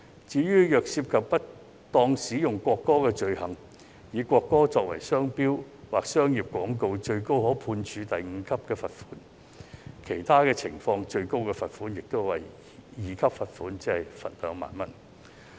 至於涉及不當使用國歌的罪行，例如以國歌作為商標或商業廣告，最高可判處第5級罰款，其他情況則最高可處第2級罰款，即2萬元。